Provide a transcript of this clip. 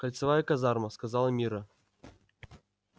кольцевая казарма сказала мирра